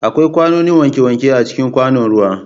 Akwai kwanoni wankewanke a cikin kwanon ruwa.